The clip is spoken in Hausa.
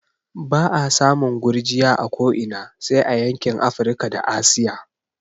Ba'a samun gurgiya a ko ina sai a yankin Afrika da Asiya